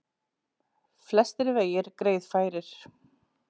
Flestir vegir greiðfærir